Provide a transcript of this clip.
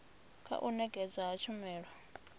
kha u nekedzwa ha tshumelo